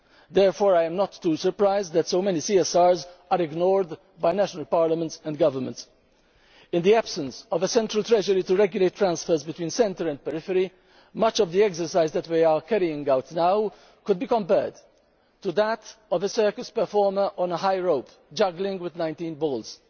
Therefore, I am not too surprised that so many CSRs are ignored by national parliaments and governments. In the absence of a central treasury to regulate transfers between centre and periphery, much of the exercise that we are carrying out now could be compared to that of a circus performer on a high rope, juggling with 19 balls.